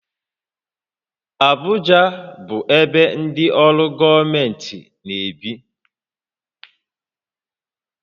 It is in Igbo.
Abụja bụ ebe ndị ọrụ gọọmentị na-ebi